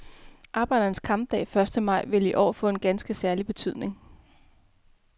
Arbejdernes kampdag, første maj, vil i år få en ganske særlig betydning.